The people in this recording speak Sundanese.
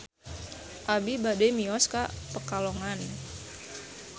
Abi bade mios ka Pekalongan